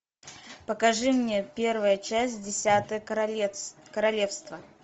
покажи мне первая часть десятое королевство